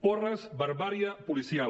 porres barbàrie policial